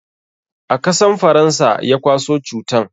Akasan faransa ya kwaso cutan